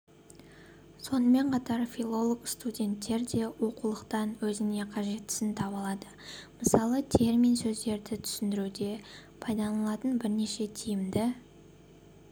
сонымен қатар филолог-студенттер де оқулықтан өзіне қажеттісін таба алады мысалы термин сөздерді түсіндіруде пайдаланылатын бірнеше тиімді